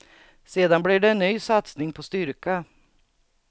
Sedan blir det en ny satsning på styrka.